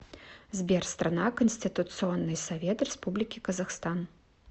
сбер страна конституционный совет республики казахстан